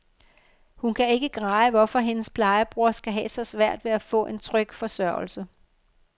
Hun kan ikke greje, hvorfor hendes plejebror skal have så svært ved at få en tryg forsørgelse.